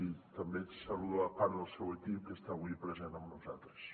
i també saludo part del seu equip que està avui present amb nosaltres